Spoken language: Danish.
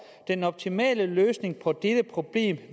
den optimale løsning på dette problem